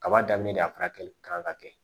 Kaba daminɛ de a faralen kan ka kɛ